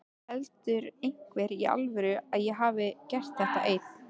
Heldur einhver í alvörunni að ég hafi gert þetta einn?